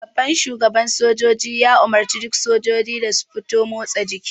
Shugaban sojoji ya umarce duk sojiji da su fita motsa jiki.